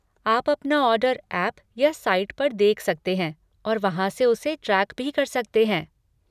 आप अपना order app या साइट पर देख सकते हैं और वहाँ से उसे ट्रैक भी कर सकते हैं।